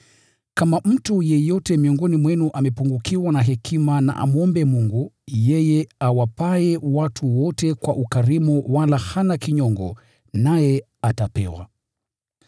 Kama mtu yeyote miongoni mwenu amepungukiwa na hekima na amwombe Mungu, yeye awapaye watu wote kwa ukarimu wala hana kinyongo, naye atapewa.